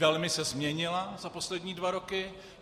Velmi se změnila za poslední dva roky.